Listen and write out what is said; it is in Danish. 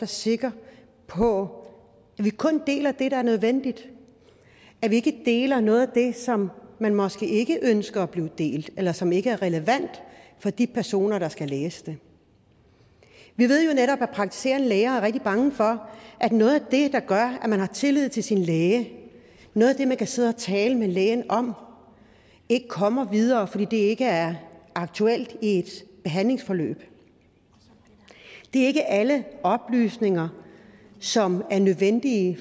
sikre på at vi kun deler det der er nødvendigt at vi ikke deler noget af det som man måske ikke ønsker bliver delt eller som ikke er relevant for de personer der skal læse det vi ved jo netop at praktiserende læger er rigtig bange for at noget af det der gør at man har tillid til sin læge noget af det man kan sidde og tale med lægen om kommer videre fordi det ikke er aktuelt i et behandlingsforløb det er ikke alle oplysninger som er nødvendige